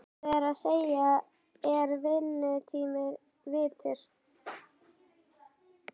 Það er að segja, er vinnutími virtur?